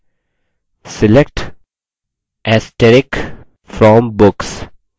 select * from books